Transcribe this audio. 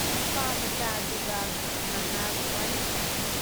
ꯅꯨꯄꯥꯃꯆꯥ ꯑꯗꯨꯒ ꯉꯍꯥꯛ ꯋꯥꯔꯤ ꯁꯥꯟꯅꯩ ꯫